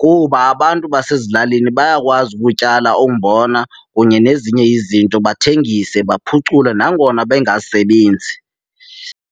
kuba abantu basezilalini bayakwazi ukutyala umbona kunye nezinye izinto, bathengise baphucule nangona bengasebenzi.